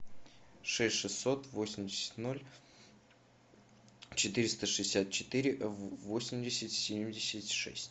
шесть шестьсот восемьдесят ноль четыреста шестьдесят четыре восемьдесят семьдесят шесть